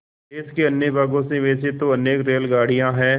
देश के अन्य भागों से वैसे तो अनेक रेलगाड़ियाँ हैं